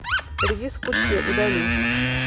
редис в пучке удали